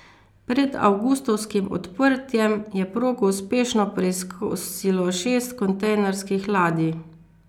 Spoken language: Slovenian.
Pred avgustovskim odprtjem je progo uspešno preizkusilo šest kontejnerskih ladij.